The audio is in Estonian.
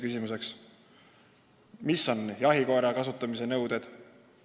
Millised on jahikoera kasutamise nõuded?